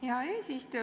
Hea eesistuja!